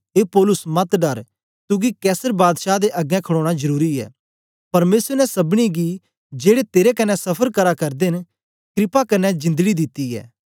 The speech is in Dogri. ए पौलुस मत डर तुगी कैसर बादशाह दे अगें खड़ोना जरुरी ऐ परमेसर ने सबनी गी जेड़े तेरे कन्ने सफर करा करदे न क्रपा कन्ने जिंदड़ी दित्ती ऐ